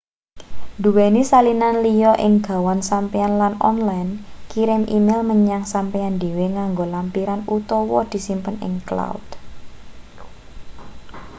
duweni salinan liya ing gawan sampeyan lan online kirim e-mail menyang sampeyan dhewe nganggo lampiran utawa disimpen ing cloud”